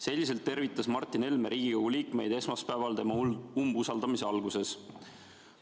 Selliselt tervitas Martin Helme Riigikogu liikmeid esmaspäeval tema umbusaldamise alguses.